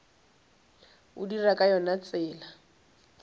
o dira ka yona tsela